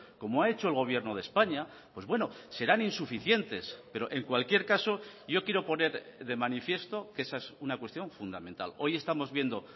como ha hecho el gobierno de españa pues bueno serán insuficientes pero en cualquier caso yo quiero poner de manifiesto que esa es una cuestión fundamental hoy estamos viendo